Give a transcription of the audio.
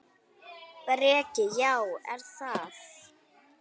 Breki: Já, er það?